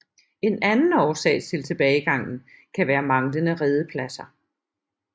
En anden årsag til tilbagegangen kan være manglende redepladser